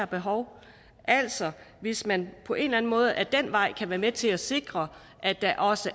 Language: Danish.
behov altså hvis man på en eller anden måde ad den vej kan være med til at sikre at der også